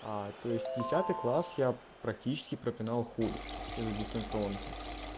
а то есть десятый класс я практически пропинал хуй из-за дистанционки